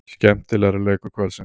Skemmtilegri leikur kvöldsins.